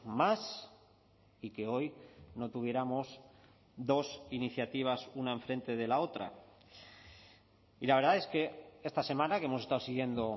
más y que hoy no tuviéramos dos iniciativas una enfrente de la otra y la verdad es que esta semana que hemos estado siguiendo